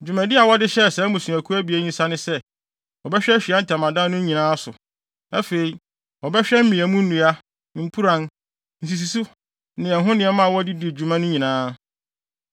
Dwumadi a wɔde hyɛɛ saa mmusuakuw abien yi nsa ne sɛ, wɔbɛhwɛ Ahyiae Ntamadan no nnyinaso so. Afei, wɔbɛhwɛ mmeamu nnua, mpuran, nsisiso ne ɛho nneɛma a wɔde di dwuma no nyinaa,